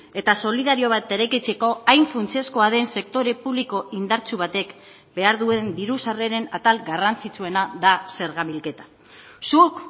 eta solidario bat eraikitzeko hain funtsezkoa den sektore publiko indartsu batek behar duen diru sarreren atal garrantzitsuena da zerga bilketa zuk